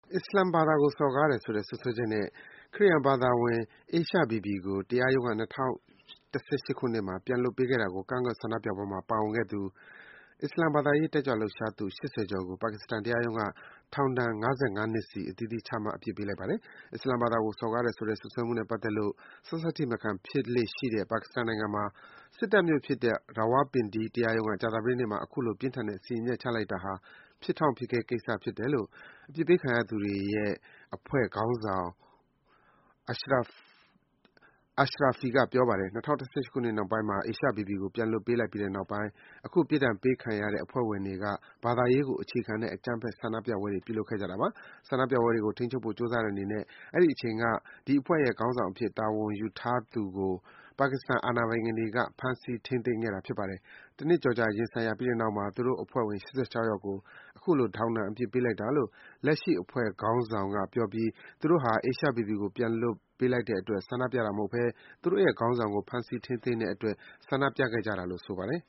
အစ္စလာမ်ဘာသာကို စော်ကားတယ်ဆိုတဲ့ စွပ်စွဲချက်နဲ့ ခရစ်ယာန်ဘာသာဝင် Asia Bibi ကို တရားရုံးက ၂၀၁၈ ခုနှစ်မှာ ပြန်လွတ်ပေးခဲ့တာကို ကန့်ကွက်ဆန္ဒပြပွဲမှာ ပါဝင်ခဲ့သူ အစ္စလာမ်ဘာသရေး တက်ကြွလှုပ်ရှားသူ ၈၀ ကျော်ကို ပါကစ္စတန်တရားရုံးက ထောင်ဒဏ် ၅၅ နှစ်စီ အသီးသီး ချမှတ် အပြစ်ပေးလိုက်ပါတယ်။ အစ္စလာမ်ဘာသာကို စော်ကားတယ်ဆိုတဲ့ စွပ်စွဲမှုနဲ့ပတ်သက်လို့ ဆတ်ဆတ်ထိမခံ ဖြစ်လေ့ရှိတဲ့ ပါကစ္စတန်နိုင်ငံမှာ စစ်တပ်မြို့ဖြစ်တဲ့ Rawalpindi တရားရုံးက ကြာသပတေးနေ့မှာ အခုလို ပြင်းထန်တဲ့ စီရင်ချက်ချလိုက်တာဟာ ဖြစ်တောင့်ဖြစ်ခဲကိစ္စလို့ အပြစ်ပေးခံရသူတွေရဲ့ Tehreek-e-Labaik Pakistani / TLP အဖွဲ့ခေါင်းဆောင် Pir Ejaz Ashrafi က ပြောပါတယ်။ ၂၀၁၈ ခုနှစ် နှောင်းပိုင်းမှာ Asia Bibi ကို ပြန်လွှတ်ပေးလိုက်ပြီးတဲ့နောက်ပိုင်း အခုပြစ်ဒဏ်ပေးခံရတဲ့ TLP အဖွဲ့ဝင်တွေက ဘာသာရေးကို အခြေခံတဲ့ အကြမ်းဖက် ဆန္ဒပြပွဲတွေ ပြုလုပ်ခဲ့ကြတာပါ။ ဆန္ဒပြပွဲတွေကို ထိန်းချုပ်ဖို့ကြိုးစားတဲ့အနေနဲ့ အဲဒီအချိန်က ဒီအဖွဲ့ရဲ့ ခေါင်းဆောင်အဖြစ် တာဝန်ယူထားသူ Khadim Hussain Rizvi ကို ပါကစ္စတန် အာဏာပိုင်တွေ ဖမ်းဆီး ထိန်းသိမ်းခဲ့ပါတယ်။ တနှစ်ကျော်ကြာ တရားရင်ဆိုင်ပြီးတဲ့နောက်မှာ သူတို့အဖွဲ့ဝင် ၈၆ ယောက်ကို အခုလို ထောင်ဒဏ် အပြစ်ပေးလိုက်တာလို့ လက်ရှိ အဖွဲ့ခေါင်းဆောင် Ashrafi က ပြောပြီး သူတို့ဟာ Asia Bibi ကို ပြန်လွတ်ပေးလိုက်တဲ့အတွက် ဆန္ဒပြခဲ့ကြတာမဟုတ်ဘဲ သူတို့ရဲ့ ခေါင်းဆောင်ဟောင်း Rizvi ကို ဖမ်းဆီး ထိန်းသိမ်းတဲ့အတွက် ဆန္ဒပြခဲ့ကြတာလို့ ဆိုပါတယ်